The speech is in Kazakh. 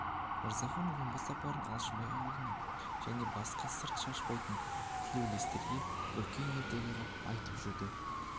мырзахан омбы сапарын алшынбай аулына және басқа сыр шашпайтын тілеулестерге үлкен ертегі қып айтып жүрді